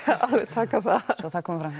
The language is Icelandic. já svo það komi fram